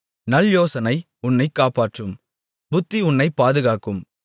நல்யோசனை உன்னைக் காப்பாற்றும் புத்தி உன்னைப் பாதுகாக்கும்